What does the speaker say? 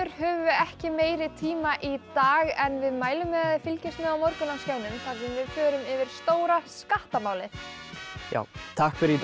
höfum við ekki meiri tíma í dag en við mælum með að þið fylgist með á morgun á skjánum þar sem við förum yfir stóra skattamálið já takk fyrir í dag